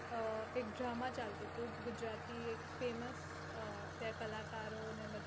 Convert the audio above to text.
ત્યાં એક drama ચાલતો હતો ગુજરાતી famouse કલાકાર